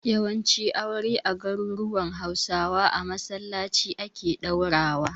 Yawancin aure a garuruwan Hausawa a masallaci ake ɗaurawa.